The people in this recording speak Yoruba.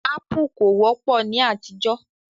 Ápù kò wọ́pọ̀ ní àtijọ́